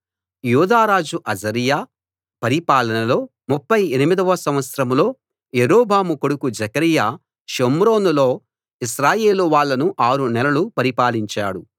యూదారాజు Azariah పరిపాలనలో 38 వ సంవత్సరంలో యరొబాము కొడుకు జెకర్యా షోమ్రోనులో ఇశ్రాయేలు వాళ్ళను ఆరు నెలలు పరిపాలించాడు